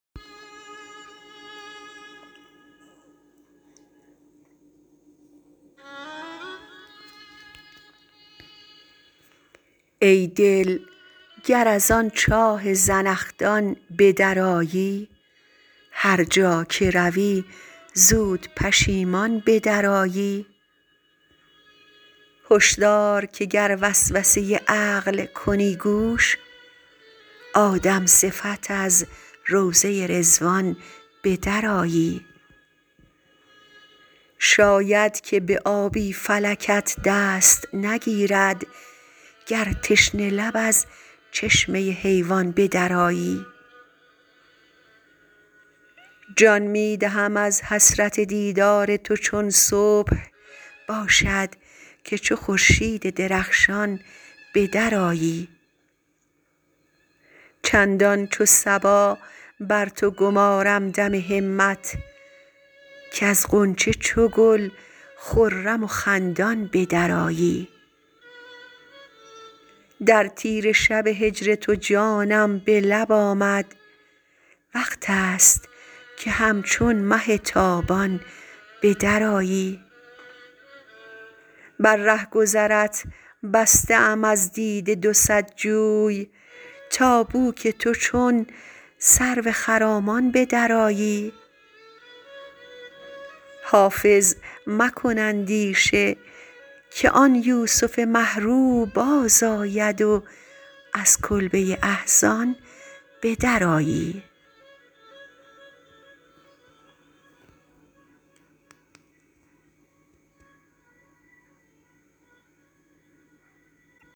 ای دل گر از آن چاه زنخدان به درآیی هر جا که روی زود پشیمان به درآیی هش دار که گر وسوسه عقل کنی گوش آدم صفت از روضه رضوان به درآیی شاید که به آبی فلکت دست نگیرد گر تشنه لب از چشمه حیوان به درآیی جان می دهم از حسرت دیدار تو چون صبح باشد که چو خورشید درخشان به درآیی چندان چو صبا بر تو گمارم دم همت کز غنچه چو گل خرم و خندان به درآیی در تیره شب هجر تو جانم به لب آمد وقت است که همچون مه تابان به درآیی بر رهگذرت بسته ام از دیده دو صد جوی تا بو که تو چون سرو خرامان به درآیی حافظ مکن اندیشه که آن یوسف مه رو بازآید و از کلبه احزان به درآیی